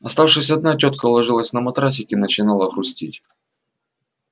оставшись одна тётка ложилась на матрасик и начинала грустить